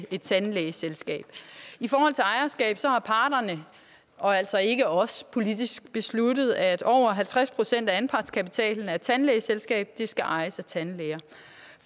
et tandlægeselskab i forhold til ejerskab har parterne og altså ikke os politisk besluttet at over halvtreds procent af anpartskapitalen af et tandlægeselskab skal ejes af tandlæger